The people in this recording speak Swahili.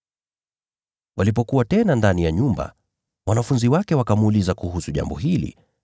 Walipokuwa tena ndani ya nyumba, wanafunzi wake wakamuuliza kuhusu jambo hili.